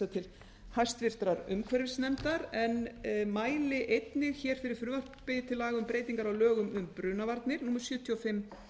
til hæstvirtrar umhverfisnefndar en mæli einnig hér fyrir frumvarpi til laga um breytingar á lögum um brunavarnir númer sjötíu og fimm